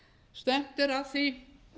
stefnt er að því